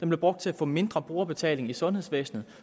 blev brugt til at få mindre brugerbetaling i sundhedsvæsenet